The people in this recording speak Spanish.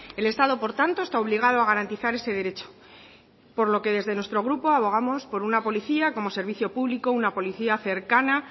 el estado por tanto está obligado a garantizar ese derecho por lo que desde nuestro grupo abogamos por una policía como servicio público una policía cercana